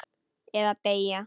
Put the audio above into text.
Eða deyja.